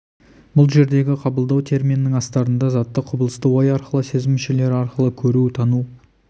бұл жердегі қабылдау терминінің астарында затты құбылысты ой арқылы сезім мүшелері арқылы көру тану